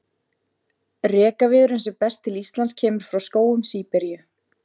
Rekaviðurinn sem berst til Íslands kemur frá skógum Síberíu.